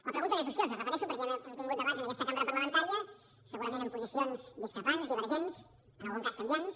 la pregunta no és ociosa ho repeteixo perquè ja hem tingut debats en aquesta cambra parlamentària segurament amb posicions discrepants divergents en algun cas canviants